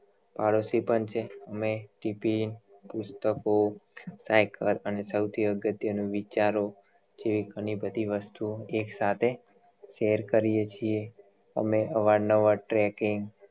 પાડોશી પણ છીએ અમે ટીફીન પુસ્તકો સાયકલ અને સૌથી અગત્ય નું વિચારો જેવી ઘણી બધી વસ્તુઑ થી સાથે share કરીએ છીએ અમે અવારનવાર tracking